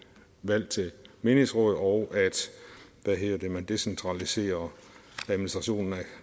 valg til menighedsråd og at man decentraliserer administrationen af